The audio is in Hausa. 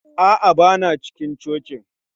A'a, ba na cikin cocin